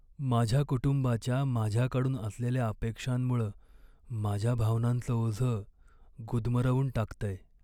माझ्या कुटुंबाच्या माझ्याकडून असलेल्या अपेक्षांमुळं माझ्या भावनांचं ओझं गुदमरवून टाकतंय.